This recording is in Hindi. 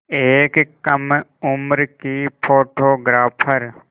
एक कम उम्र की फ़ोटोग्राफ़र